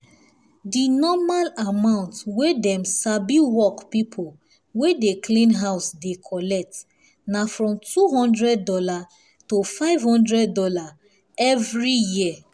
dinormal amount wey dem sabiwork pipo wey dey clean house dey collect na from $200 to five hundred dollars every year